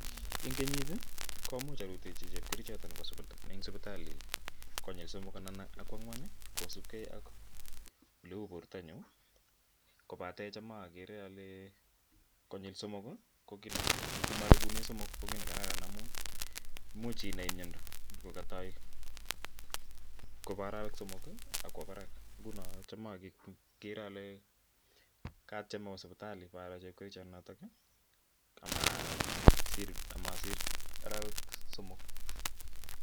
En kenyit komuch arutechi chepkerichot anan ko sipitali konyir somok anan koangwan kosipkei ak oleu bortonyun kobaten tam akere ole konyil somok ko kiit nekararan amun imuch inai myondo kokotoi kobo orowek somok ak kwo barak nguno tam akere ole katyem owo sipitali anyor chepkerichonotok amosir orowek somok.